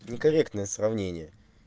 некорректное сравнение